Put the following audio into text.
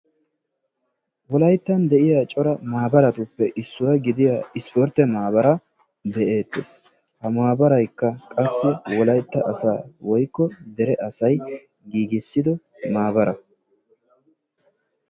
Wolayttan de"iya cora maabaratuppe issuwa gidiya ispportte maabaraa be"eettes. Ha maabaraykka qassi wolaytta asaa woykko dere asay giigissido maabara